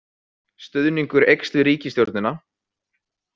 Stuðningur eykst við ríkisstjórnina